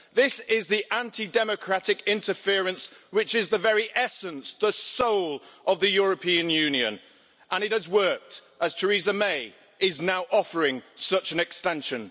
This is the anti-democratic interference which is the very essence, the soul, of the European Union, and it has worked as Theresa May is now offering such an extension.